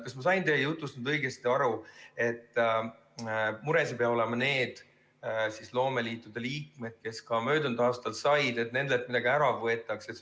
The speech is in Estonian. Kas ma sain teie jutust õigesti aru, et need loomeliitude liikmed, kes ka möödunud aastal said, ei pea olema mures, et nendelt midagi ära võetakse?